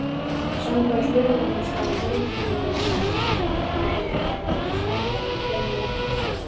Samkvæmt lögunum skal heilbrigðismálaráð starfa í hverju læknishéraði.